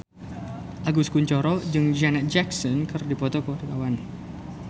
Agus Kuncoro jeung Janet Jackson keur dipoto ku wartawan